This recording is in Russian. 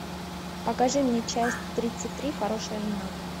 покажи мне часть тридцать три хорошая жена